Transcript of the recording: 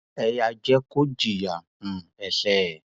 ẹ yáa jẹ kó jìyà um ẹṣẹ ẹ